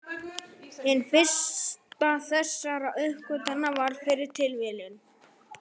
Hin fyrsta þessara uppgötvana varð fyrir tilviljun.